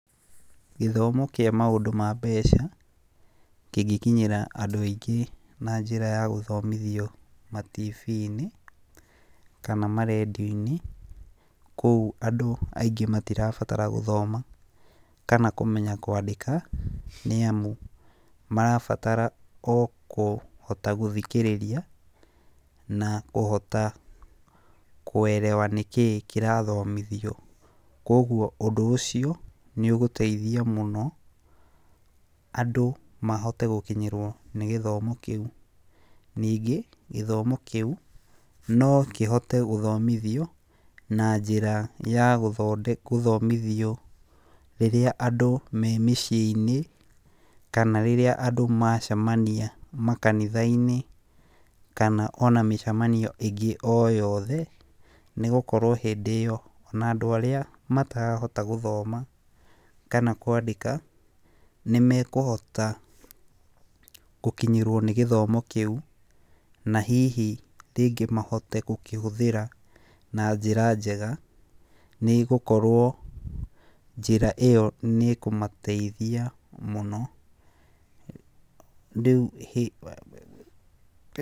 Gĩthomo kĩa maũndũ ma mbeca kĩngĩkinyĩra andũ aingĩ na njĩra ya gũthomithio ma TV-inĩ kana ma rendiũ-inĩ. Kũu andũ aingĩ matirabatara gũthoma kana kwandĩka nĩ amu, marabatara o kũhota gũthikĩrĩria na kũhota kuelewa nĩkĩĩ kĩrathomithio. Koguo ũndũ ũcio nĩ ũgũteithia mũno andũ mahote gũkinyĩrwo nĩ gĩthomo kĩu, ningĩ gĩthomo kĩu no kĩhote gũthomithio na njĩra ya gũthomithio rĩrĩa andũ me mĩciĩ-inĩ kana rĩrĩa andũ macemania makanitha-inĩ, kana ona mĩcemanio ĩngĩ o yothe. Nĩ gũkorwo hĩndĩ ĩyo ona andũ arĩa matarahota gũthoma kama kwandĩka nĩ mekũhota gũkinyĩrwo nĩ gĩthomo kĩu, na hihi rĩngĩ mahote gũkĩhũthĩra na njĩra njega. Nĩ gũkorwo njĩra ĩyo nĩ ĩkũmateithia mũno. Rĩu...